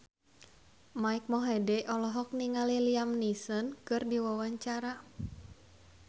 Mike Mohede olohok ningali Liam Neeson keur diwawancara